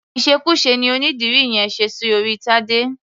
Ìṣekúṣe ni onídìrí yẹn ṣe sí orí Tadé.